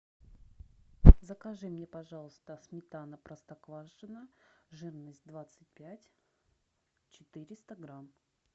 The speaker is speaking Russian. закажи мне пожалуйста сметана простоквашино жирность двадцать пять четыреста грамм